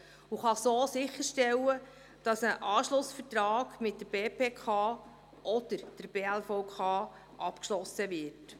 Er kann so sicherstellen, dass ein Anschlussvertrag mit der BPK oder der BLVK abgeschlossen wird.